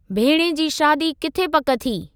भेणें जी शादी किथे पक थी?